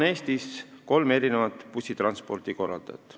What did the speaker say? Eestis on kolm bussitranspordikorraldajat.